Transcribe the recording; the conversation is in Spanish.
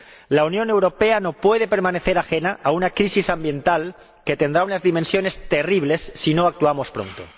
La Unión Europea no puede permanecer ajena a una crisis ambiental que tendrá unas dimensiones terribles si no actuamos pronto.